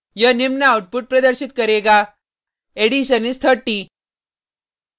यह निम्न आउटपुट प्रदर्शित करेगा addition is 30